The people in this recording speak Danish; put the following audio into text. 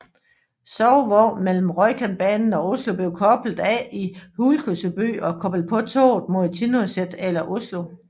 Sovevognen mellem Rjukanbanen og Oslo blev koblet af i Hjuksebø og koblet på toget mod Tinnoset eller Oslo